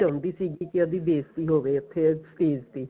ਚਾਉਂਦੀ ਸੀਗੀ ਉਹਦੀ ਬੇਸਤੀ ਹੋਵੇ ਉੱਥੇ stage ਤੇ